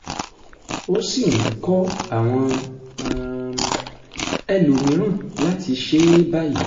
ó sì ń kọ́ àwọn um ẹlòmíràn láti ṣe é báyìí